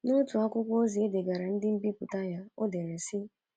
N’otu akwụkwọ ozi o degaara ndị nbipụta ya, o dere sị: